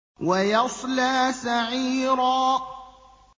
وَيَصْلَىٰ سَعِيرًا